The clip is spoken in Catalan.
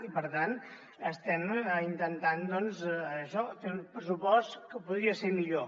i per tant estem intentant doncs això fer un pressupost que podria ser millor